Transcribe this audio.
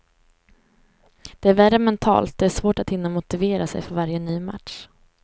Det är värre mentalt, det är svårt att hinna motivera sig för varje ny match.